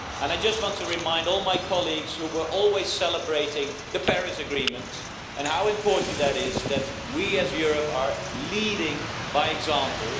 I just want to remind all my colleagues who were always celebrating the Paris Agreement about how important it is that we as Europe are leading by example.